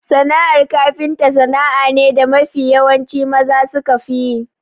Sana'ar kafinta sana'a ne da mafi yawanci maza sukafi yi.